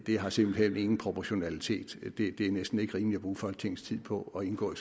har simpelt hen ingen proportionalitet det er næsten ikke rimeligt at bruge folketingets tid på at indgå